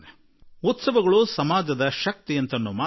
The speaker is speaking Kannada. ಉತ್ಸವ ಸಮಾಜದ ಶಕ್ತಿಯಾಗುತ್ತದೆ ಎನ್ನುವ ಮಾತು ಸರಿ